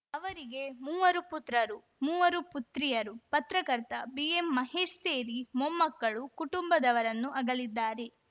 ಅವರಿಗೆ ಮೂವರು ಪುತ್ರರು ಮೂವರು ಪುತ್ರಿಯರು ಪತ್ರಕರ್ತ ಬಿಎಂಮಹೇಶ್‌ ಸೇರಿ ಮೊಮ್ಮಕ್ಕಳು ಕುಟುಂಬದವರನ್ನು ಅಗಲಿದ್ದಾರೆ